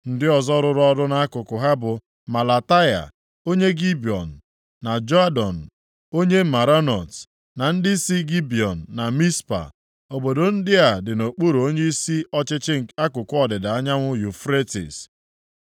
Ndị ọzọ rụrụ ọrụ nʼakụkụ ha bụ Melataya, onye Gibiọn, na Jadon onye Meronot, na ndị si Gibiọn na Mizpa. Obodo ndị a dị nʼokpuru onyeisi ọchịchị akụkụ ọdịda anyanwụ Yufretis.